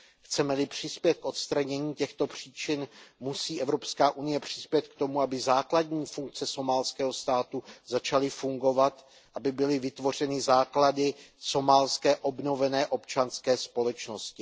Chceme li přispět k odstranění těchto příčin, musí Evropská unie přispět k tomu, aby základní funkce somálského státu začaly fungovat, aby byly vytvořeny základy somálské obnovené občanské společnosti.